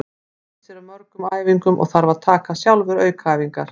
Hann missir af mörgum æfingum og þarf að taka sjálfur aukaæfingar.